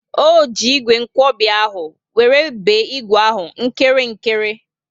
O ji ígwè nkwobi ahụ wéré be ígwè ahụ nkirikiri